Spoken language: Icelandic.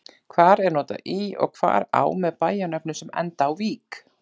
Hvar er notað í og hvar á með bæjarnöfnum sem enda á-vík?